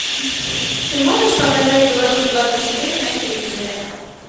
ты можешь показать беларусь двадцать четыре на телевизоре